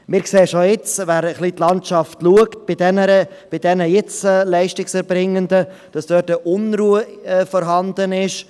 Wir sehen schon jetzt: Wer etwas in die Landschaft schaut, sieht, dass bei den Beschäftigten der jetzigen Leistungserbringenden Unruhe vorhanden ist.